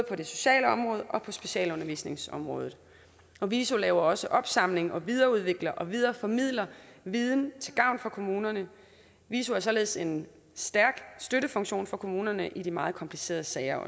på det sociale område og på specialundervisningsområdet viso laver også opsamling samt videreudvikler og videreformidler viden til gavn for kommunerne viso er således en stærk støttefunktion for kommunerne i de meget komplicerede sager